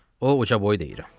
O ucaboy deyil.